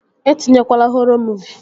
E tinyekwana họrọ muuvi!